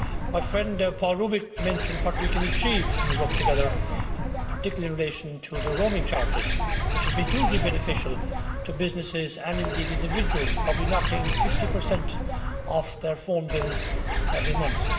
My friend Paul Rubig mentioned what we can achieve when we work together, particularly in relation to the roaming charges, which has been hugely beneficial to businesses and indeed individuals, probably knocking 50 off their phone bills every month.